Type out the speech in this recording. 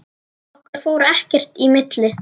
Okkar fór ekkert í milli.